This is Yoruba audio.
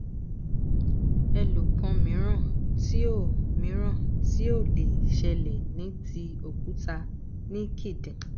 èlòkan mìíràn ti ó mìíràn ti ó lè ṣẹlẹ ni ti òkúta níkidin